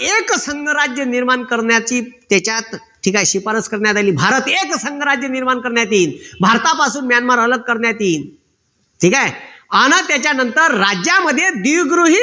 एकसंघ राज्य निर्माण करण्याची त्याच्यात ठीक आहे. शिपारस करण्यात आली. भारत एकसंघ राज्य निर्माण करण्यात येईल भारतापासून म्यानमार अलग करता येईल. ठीक आहे. आणि त्याच्यानंतर राज्यामध्ये द्विगृही